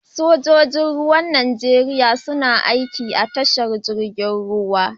Sojoji Ruwan Najeriya suna aiki da tashar jirgin ruwa.